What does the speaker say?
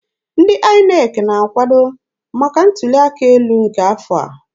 Ndị INEC na-akwado maka ntuli aka elu nke afọ a.